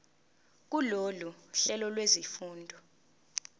kulolu hlelo lwezifundo